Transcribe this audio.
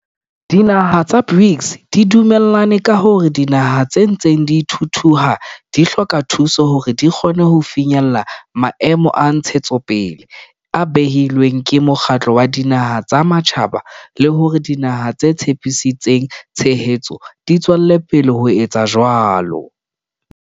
Dinaha tsa BRICS di dume llane ka hore dinaha tse ntseng di thuthuha di hloka thuso hore di kgone ho finyella Maemo a Ntshetsopele a behilweng ke Mokgatlo wa Dinaha tsa Matjhaba le hore dinaha tse tshepisitseng tshehetso di tswele pele ho etsa jwalo.